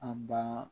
An ba